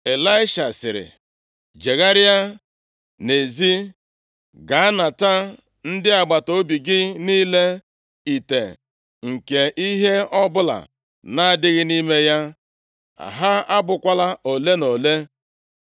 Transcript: Ịlaisha sịrị, “Jegharịa na-ezi, gaa nata ndị agbataobi gị niile ite nke ihe ọbụla na-adịghị nʼime ya. Ha abụkwala ole na ole.